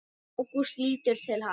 Ágúst lítur til hans.